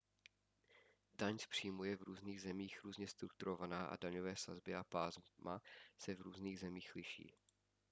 daň z příjmu je v různých zemích různě strukturovaná a daňové sazby a pásma se v různých zemích liší